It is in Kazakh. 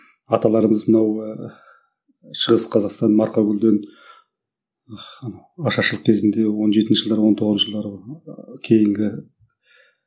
аталарымыз мынау ыыы шығыс қазақстан марқакөлден ашаршылық кезінде он жетінші жылдары он тоғызыншы жылдары кейінгі